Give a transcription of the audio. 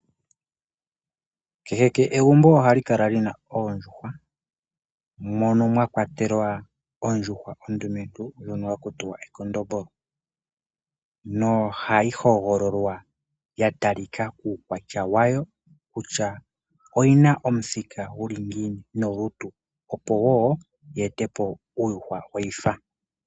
Kehe egumbo oha li kala lina oondjuhwa, mono mwa kwatelwa ondjuhwa ondumentu ndjo ha ku tiwa ekondombolo, no ha yi hogololwa ya talikako kuukwatya wayo , kutya oyi ba omuthika gu li ngiini nolutu opo wo yi etepo uukwatya weyifa.